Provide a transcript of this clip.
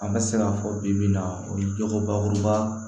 An bɛ se k'a fɔ bi bi in na o ye jogobakuruba